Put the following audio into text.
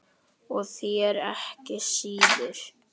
Og þér ekki síður